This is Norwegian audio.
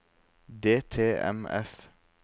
DTMF